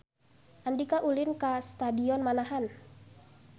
Andika ulin ka Stadion Manahan